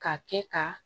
K'a kɛ ka